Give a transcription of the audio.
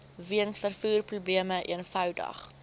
weens vervoerprobleme eenvoudig